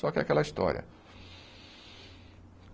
Só que é aquela história.